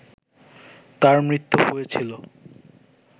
তার মৃত্যু হয়েছিল